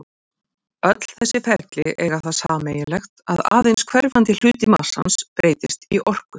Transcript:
Öll þessi ferli eiga það sameiginlegt að aðeins hverfandi hluti massans breytist í orku.